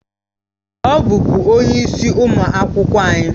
Ọ bụbu onye isi ụmụ akwụkwọ anyị